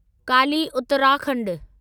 Kali Uttarakhand